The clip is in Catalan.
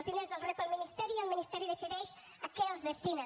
els diners els rep el ministeri i el ministeri decideix a què els destina